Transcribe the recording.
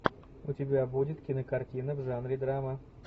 у тебя будет кинокартина в жанре драма